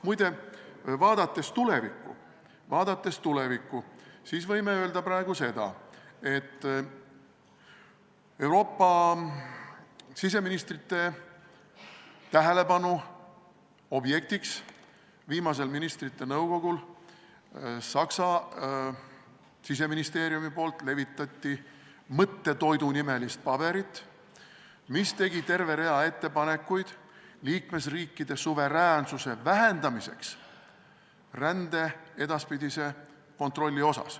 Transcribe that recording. Muide, vaadates tulevikku võin ma öelda praegu seda, et Euroopa siseministrite tähelepanu objektiks sai viimasel ministrite nõukogul Saksa siseministeeriumi levitatud mõttetoidunimeline paber, kus oli kirjas terve rida ettepanekuid liikmesriikide suveräänsuse vähendamiseks rände edaspidisel kontrollil.